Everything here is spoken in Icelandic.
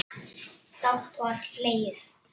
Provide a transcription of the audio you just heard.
Dátt var hlegið.